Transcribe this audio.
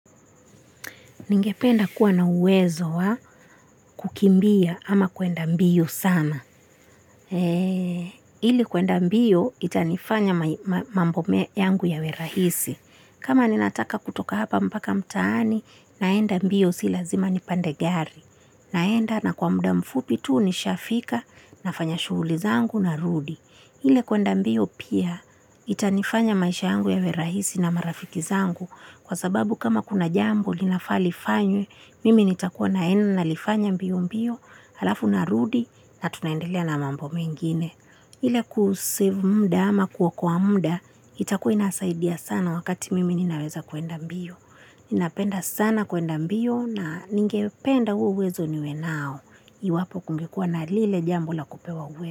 Ningependa kuwa na uwezo wa kukimbia ama kuenda mbio sana. Ili kuenda mbio itanifanya mambo yangu yawe rahisi. Kama ninataka kutoka hapa mpaka mtaani, naenda mbio si lazima nipande gari. Naenda na kwa muda mfupi tu, nishafika nafanya shughuli zangu narudi. Ile kuenda mbio pia itani anya maisha yangu yawe rahisi na marafiki zangu Kwa sababu kama kuna jambo linafaa lifanywe, mimi nitakuwa naenda nalifanya mbio mbio, halafu narudi na tunaendelea na mambo mengine. Ile kusave muda ama kuokoa muda, itakua inasaidia sana wakati mimi ninaweza kuenda mbio Ninapenda sana kuenda mbio na ningependa huo uwezo niwe nao, iwapokungekuwa na lile jambo la kupewa.